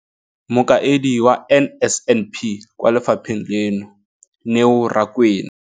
Mokaedi wa NSNP kwa lefapheng leno, Neo Rakwena.